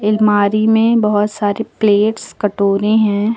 अलमारी में बहुत सारे प्लेट्स कटोरें हैं।